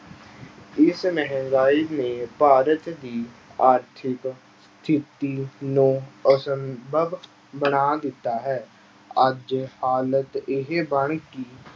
ਇਸ ਮਹਿੰਗਾਈ ਨੇ ਭਾਰਤ ਦੀ ਆਰਥਿਕ ਸਥਿੱਤੀ ਨੂੰ ਅਸੰਭਵ ਬਣਾ ਦਿੱਤਾ ਹੈ, ਅੱਜ ਹਾਲਤ ਇਹ ਬਣ ਗਈ